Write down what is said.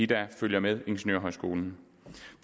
der følger med ingeniørhøjskolen